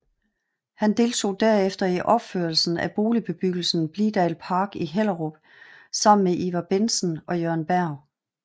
Han deltog derefter i opførelsen af boligbebyggelsen Blidah Park i Hellerup sammen med Ivar Bentsen og Jørgen Berg